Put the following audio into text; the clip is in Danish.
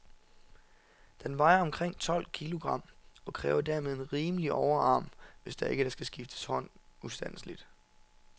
Den vejer omkring tolv kilogram, og kræver dermed en rimelig overarm, hvis der ikke skal skifte hånd ustandseligt.